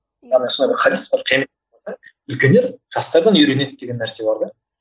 сондай бір хадис бар үлкендер жастардан үйренеді деген нәрсе бар да